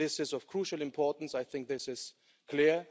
This is of crucial importance I think this is clear.